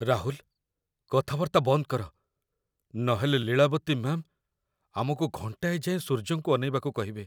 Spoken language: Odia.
ରାହୁଲ! କଥାବାର୍ତ୍ତା ବନ୍ଦ କର, ନହେଲେ ଲୀଳାବତୀ ମ୍ୟା'ମ୍ ଆମକୁ ଘଣ୍ଟାଏ ଯାଏଁ ସୂର୍ଯ୍ୟଙ୍କୁ ଅନେଇବାକୁ କହିବେ ।